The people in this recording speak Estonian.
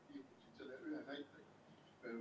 Piirdun selle ühe näitega.